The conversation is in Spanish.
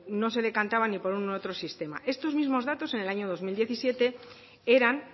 no se decantaba ni por uno ni otro sistema estos mismos datos en el año dos mil diecisiete eran